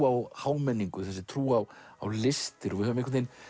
á hámenningu og þessi trú á á listir og við höfum